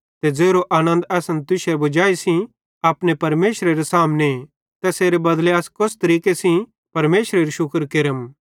ते ज़ेरो आनन्द असन तुश्शे वजाई सेइं अपने परमेशरेरे सामने तैसेरे बदले मां अस कोस तरीके सेइं परमेशरेरू शुक्र केरम